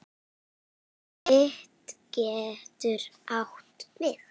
Fit getur átt við